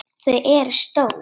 Þau eru stór.